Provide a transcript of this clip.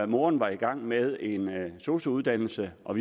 moren var i gang med en sosu uddannelse og